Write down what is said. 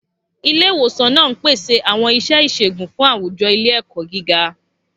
Ilé ìwòsàn náà ń pèsè àwọn iṣẹ́ ìṣègùn fún àwùjọ ilé-ẹ̀kọ́ gíga.